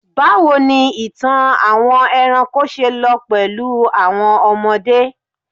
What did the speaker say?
bawo ni ìtàn àwọn eranko se lọ pẹlú àwọn ọmọdé